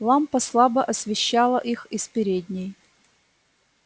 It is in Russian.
лампа слабо освещала их из передней